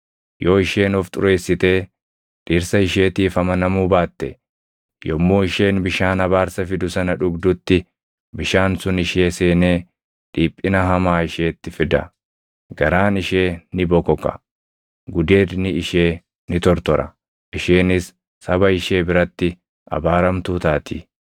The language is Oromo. Yoo isheen of xureessitee dhirsa isheetiif amanamuu baatte, yommuu isheen bishaan abaarsa fidu sana dhugdutti bishaan sun ishee seenee dhiphina hamaa isheetti fida; garaan ishee ni bokoka; gudeedni ishee ni tortora; isheenis saba ishee biratti abaaramtuu taati.